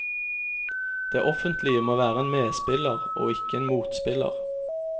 Det offentlige må være en medspiller og ikke en motspiller.